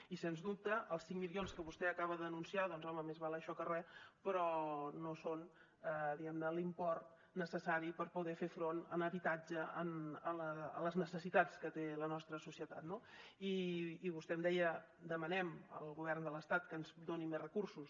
i sens dubte els cinc milions que vostè acaba d’anunciar doncs home més val això que res però no són diguem ne l’import necessari per poder fer front en habitatge a les necessitats que té la nostra societat no i vostè em deia demanem al govern de l’estat que ens doni més recursos